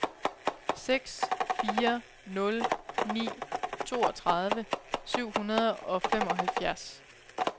seks fire nul ni toogtredive syv hundrede og femoghalvfjerds